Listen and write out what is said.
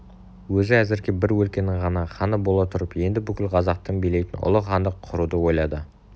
өзі әзірге бір өлкенің ғана ханы бола тұрып енді бүкіл қазақты билейтін ұлы хандық құруды ойлады